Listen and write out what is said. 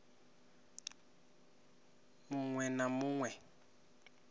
mu ṅwe na mu ṅwe